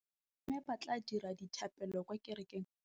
Bommê ba tla dira dithapêlô kwa kerekeng